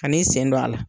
Kan'i sen don a la